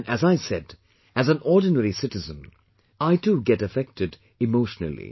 And as I said, as an ordinary citizen, I too get affected emotionally